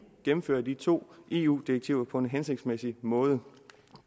gennemfører de to eu direktiver på en hensigtsmæssig måde